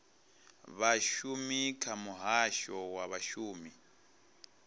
vhashumi kha muhasho wa vhashumi